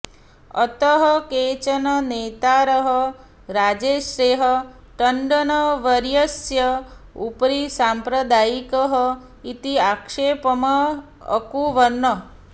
अतः केचन नेतारः राजर्षेः टण्डनवर्यस्य उपरि साम्प्रदायिकः इति आक्षेपम् अकुर्वन्